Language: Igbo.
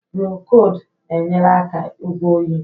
Prokold na-enyere aka ịgwọ oyi.